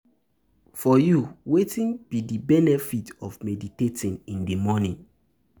For you, wetin be di benefit of meditating in di morning?